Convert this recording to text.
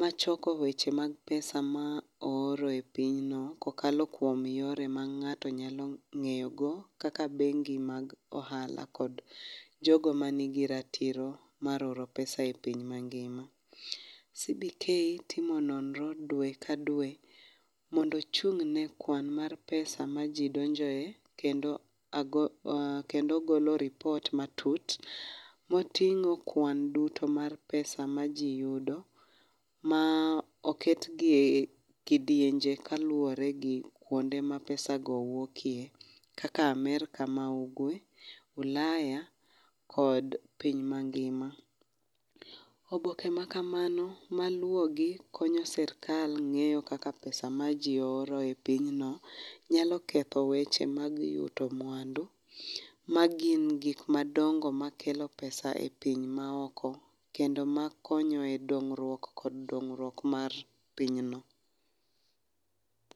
machoko weche mag pesa ma ooro e pinyno kokalo kuom yore ma ng'ato nyalo ng'eyogo kaka bengi mag ohala kod jogo man gi ratiro mar oro pesa e piny mangima. CBK timo nonro dwe kadwe mondo ochung' ne kwan mar pesa maji donjoe kendo agolo kendo ogolo lipot matut moting'o kwan duto mar pesa majiyudo ma oketgi ekidienje kaluwore gi kuonde ma pesago wuokie kaka Amerca ma ugwe, Ulaya kod piny mangima. Oboke makamago maluwogi konyo sirkal ng'eyo kaka pesa maji oro e pinyno nyalo ketho weche mag yudo mwandu magin gik madongo makelo pesa e piny maoko kendo makonyo e dongruok kod dongruok mar pinyno.